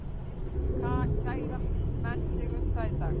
Kæra menn sig um það í dag?